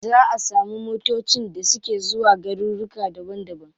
Za a samu motacin da suke zuwa garuruka daban daban.